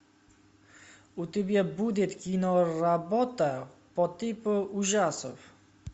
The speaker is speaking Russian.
у тебя будет киноработа по типу ужасов